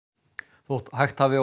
þótt hægt hafi á